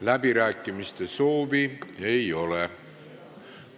Läbirääkimiste soovi ei ole.